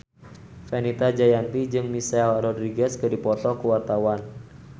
Fenita Jayanti jeung Michelle Rodriguez keur dipoto ku wartawan